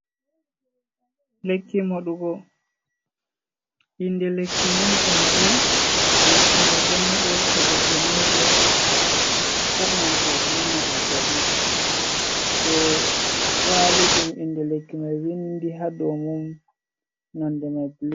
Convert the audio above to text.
Lekki moɗugo, inde lekki mai panadol, lekki mai ɗon moɗe to goɗɗo nyauɗo, musamman to o ɗo nana zazzaɓi, so kwali ɗum inde lekki mai vindi ha dou mun nonde man blu.